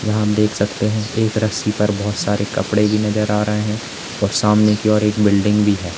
देख सकते हैं कि एक रस्सी पर बहुत सारे कपड़े भी नजर आ रहे हैं और सामने की ओर एक बिल्डिंग भी है।